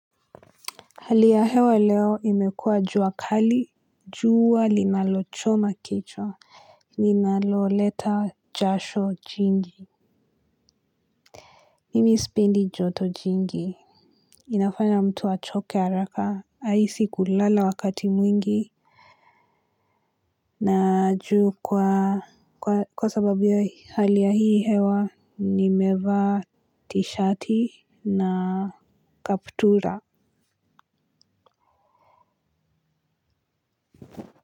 Hali ya hewa leo imekua juakali juwa linalochoma kichwa linalo leta jasho jingi. Mimi spendi joto jingi. Inafanya mtu achoke araka aisi kulala wakati mwingi. Naju kwa sababu ya hali ya hii hewa nimeva tishati na kaptura.